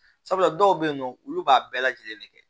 Sabula dɔw bɛ yen nɔ olu b'a bɛɛ lajɛlen de kɛ